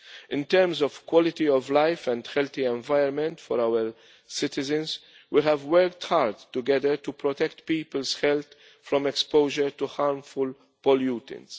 In terms of quality of life and a healthy environment for our citizens, we have worked hard together to protect people's health from exposure to harmful pollutants.